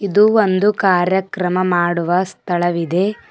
ಇದು ಒಂದು ಕಾರ್ಯಕ್ರಮ ಮಾಡುವ ಸ್ಥಳವಿದೆ.